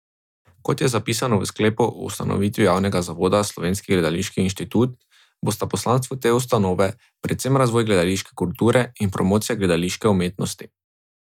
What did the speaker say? Kot je zapisano v sklepu o ustanovitvi javnega zavoda Slovenski gledališki inštitut, bosta poslanstvo te ustanove predvsem razvoj gledališke kulture in promocija gledališke umetnosti.